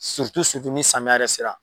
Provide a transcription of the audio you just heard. ni samiya yɛrɛ sera.